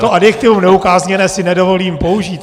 To adjektivum neukázněné si nedovolím použít.